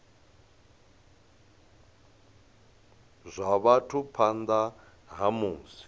zwa vhathu phanḓa ha musi